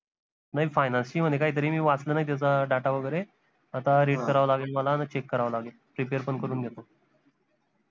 नाई finance ची म्हने काही तरी मी वाचलं नाई त्याचा data वगैरे आता read करावं लागेल मला न check करावं लागेल prepare पन करून घेतो